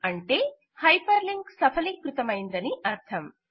అనగా hyperlink సఫలీకృతమయిందని అర్థం